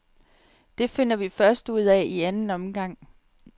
Det finder vi først ud af i anden omgang.